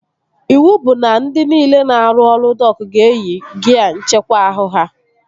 Iwu bụ na ndị niile na-arụ ọrụ dok ga-eyi gia nckekwa ahụ ha!